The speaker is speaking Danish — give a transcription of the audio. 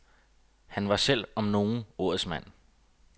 Han selv var, om nogen, ordets mand.